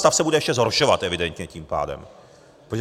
Stav se bude ještě zhoršovat evidentně tím pádem.